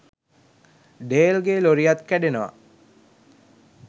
ඩේල්ගේ ලොරියත් කැඩෙනවා.